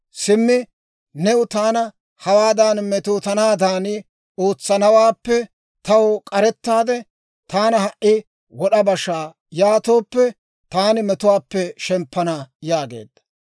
Simmi neeni taana hawaadan metootanaadan ootsanawaappe taw k'arettaade taana ha"i wod'a basha; yaatooppe, taani metuwaappe shemppana» yaageedda.